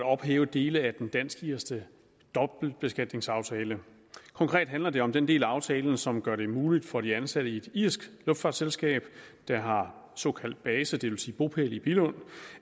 at ophæve dele af den dansk irske dobbeltbeskatningsaftale konkret handler det om den del af aftalen som gør det muligt for de ansatte i et irsk luftfartsselskab der har såkaldt base det vil sige bopæl i billund